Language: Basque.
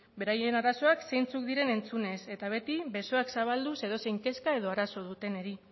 beraien arazoak zeintzuk diren entzunez eta beti besoak zabalduz edozein kezka edo arazo dutenei